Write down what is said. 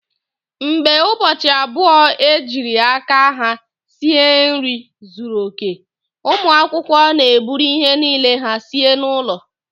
Mgbe ụbọchị abụọ ejiri aka ha sie nri zuru oke, ụmụ akwụkwọ na-eburu ihe niile ha sie n'ụlọ